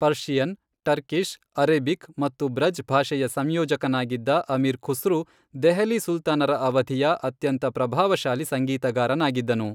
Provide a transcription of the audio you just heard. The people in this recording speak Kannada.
ಪರ್ಷಿಯನ್, ಟರ್ಕಿಶ್, ಅರೇಬಿಕ್ ಮತ್ತು ಬ್ರಜ್ ಭಾಷೆಯ ಸಂಯೋಜಕನಾಗಿದ್ದ ಅಮೀರ್ ಖುಸ್ರು ದೆಹಲಿ ಸುಲ್ತಾನರ ಅವಧಿಯ ಅತ್ಯಂತ ಪ್ರಭಾವಶಾಲಿ ಸಂಗೀತಗಾರನಾಗಿದ್ದನು.